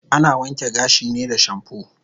Ana wanke gashi ne da shampoo